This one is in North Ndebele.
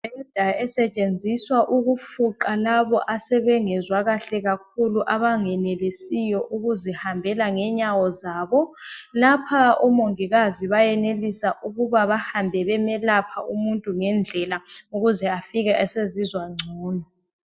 Imibheda esetshenziswa ukufuqa labo asebengezwa kahle kakhulu. Abangenelisiyo ukuzihambela ngenyawo zabo ,lapha omongikazi bayenelisa ukuba behambe bemelapha umuntu ngendlela ukuze afike esezizwa ngcono.